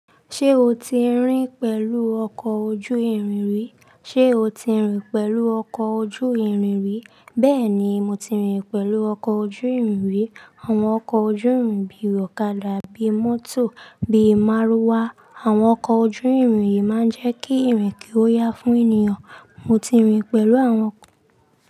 Ṣé o ti rin pẹ̀lú ọkọ̀ ojú ìrìn rí? Ṣé o ti rin pẹ̀lú ọkọ̀ ojú ìrìn rí? Bẹ́ẹ̀ ni, mo ti rin pẹ̀lú ọkọ̀ ojú ìrìn rí. Àwọn ọkọ̀ ojú ìrìn bí i ọ̀kadà bí i mọ́tò bí i márúwá. Àwọn ọkọ̀ ojú ìrìn yìí máa ń jẹ́ kí ìrìn kí ó yá fún ènìyàn. Mo ti rin pẹ̀lú àwọn ọkọ̀.